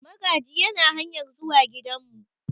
Magaji yana hanyar zuwa gidanmu.